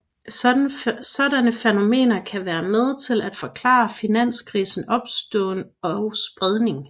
Sådanne fænomener kan være med til at forklare finanskrisers opståen og spredning